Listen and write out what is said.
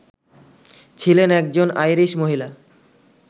ছিলেন একজন আইরিশ মহিলা